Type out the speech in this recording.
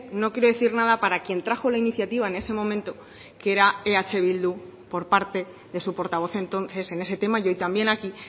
no quiero decir nada para quien trajo la iniciativa en ese momento que era eh bildu por parte de su portavoz entonces en ese tema y hoy también aquí